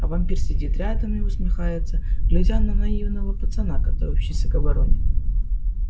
а вампир сидит рядом и усмехается глядя на наивного пацана готовящегося к обороне